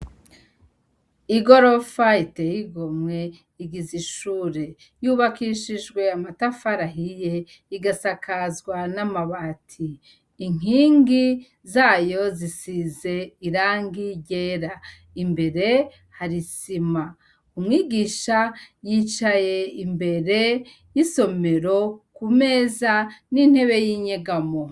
Igorofa iteye igomwe igize ishure. Yubakishijwe amatafari ahiye, igasakazwa n'amabati. Inkingi zayo zisize irangi ryera. Imbere hari isima. Umwigisha yicaye imbere y'isomero ku meza, n'intebe y'inyegamo.